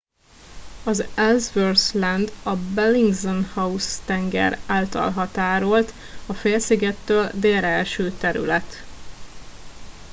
az ellsworth land a bellingshausen tenger által határolt a félszigettől délre eső terület